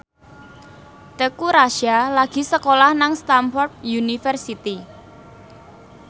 Teuku Rassya lagi sekolah nang Stamford University